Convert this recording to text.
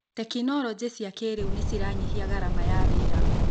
Tekinologĩ cia kĩrĩu nĩciranyihia garama ya wĩra.